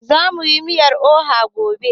Zamu yi miyar oha gobe